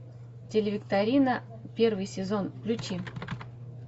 телевикторина первый сезон включи